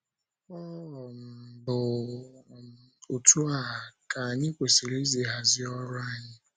Ọ um bụ um otú um a, ka anyị kwesịrị isi hazie ọrụ anyị? ”